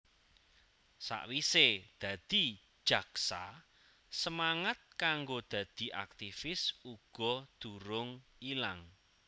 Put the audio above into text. Sakwise dadi jaksa semangat kanggo dadi aktifis uga durung ilang